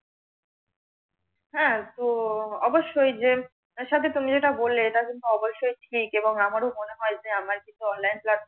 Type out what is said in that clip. হ্যাঁ তো অবশ্যই যে, সাথে যেটা তুমি বললে এটা কিন্তু অবশ্যই ঠিক, এবং আমারও মনে হয় যে, আমার কিছু online class